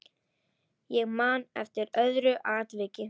Ég man eftir öðru atviki.